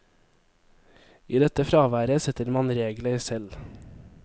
I dette fraværet setter man regler selv.